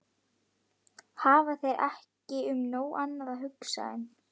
Hafa þeir ekki um nóg annað að hugsa en.